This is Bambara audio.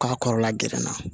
K'a kɔrɔla gɛrɛ na